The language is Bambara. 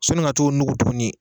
Sɔnni ka t'o nugu tuguni.